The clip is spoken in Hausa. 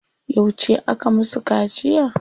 Yauce aka musu kaciya?